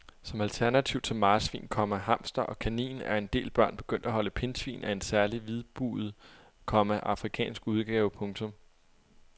Som alternativ til marsvin, komma hamster og kanin er en del børn begyndt at holde pindsvin af en særlig hvidbuget, komma afrikansk udgave. punktum